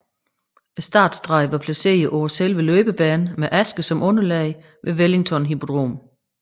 Startstregen var placeret på selve løbebanen med aske som underlag ved Wellington Hippodrom